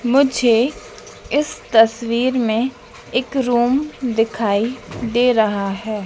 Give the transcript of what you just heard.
मुझे इस तस्वीर में एक रूम दिखाई दे रहा है।